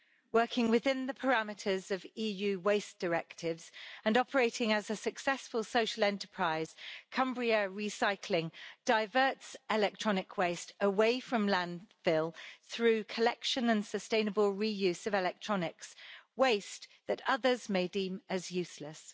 Working within the parameters of EU waste directives and operating as a successful social enterprise, Cumbria Recycling diverts electronic waste away from landfill through the collection and sustainable reuse of electronics waste that others may deem as useless.